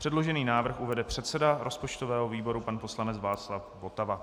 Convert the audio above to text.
Předložený návrh uvede předseda rozpočtového výboru pan poslanec Václav Votava.